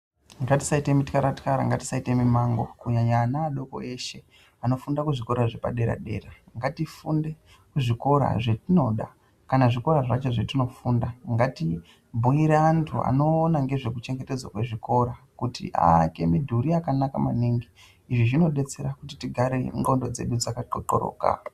Ngatisaite mitxara-txara ngatisaite mimango kunyanya kunyanya ana adoko eshe anofunda kuzvikora zvepadera-dera. Ngatifunde kuzvikora zvatinoda kana zvikora zvacho zvatinofunda ngati bhuire antu anoona ngezvekuchengedzwa kwezvikora kuti aake midhiri yakanaka maningi. Izvi zvinobetsera kuti tigare ndxndo dzedu dzakatotoroka.